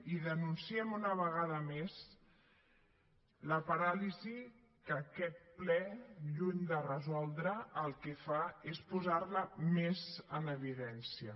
i denunciem una vegada més la paràlisi que aquest ple lluny de resoldre el que fa és posar la més en evidència